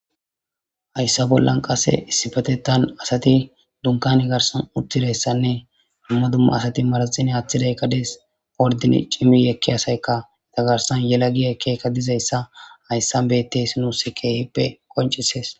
hayssa bollan qase issifate tan asati dunkani garsan uttidayssanne dumma dumma asati maraxine haaththiday kadees ordin cimi ekki asayka yatagarsan yelagi ekkika dizayssa hayssa bette sinusi kehippe qoncisees